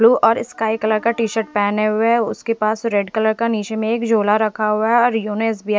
blue और sky colour का T shirt पहने हुए है उसके पास रेड कलर में निचे में एक झोला रखा हुआ है और --